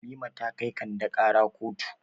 Halima ta kai Kande ƙara kotu.